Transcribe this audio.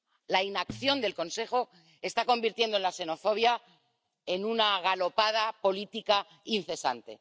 La inacción del Consejo está convirtiendo la xenofobia en una galopada política incesante.